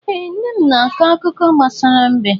Ee, nne m na-akọ akụkọ gbasara mbe.